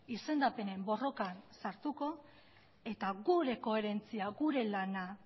izendapenen borrokan sartuko eta gure koherentzia gure lana